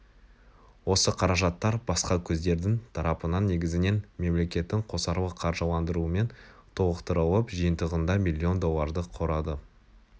осы қаражаттар басқа көздердің тарапынан негізінен мемлекеттің қосарлы қаржыландырумен толықтырылып жиынтығында миллион долларды құрады